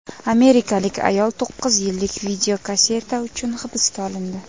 Amerikalik ayol to‘qqiz yillik videokasseta uchun hibsga olindi.